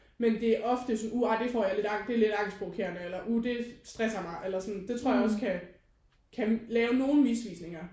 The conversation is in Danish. Men det er ofte sådan uh ej det får jeg lidt angst det er angstprovokerende eller uh det stresser mig eller sådan. Det tror jeg også kan kan lave nogen misvisninger